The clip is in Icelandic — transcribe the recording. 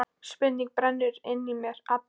Spurning brennur inn í mér allri.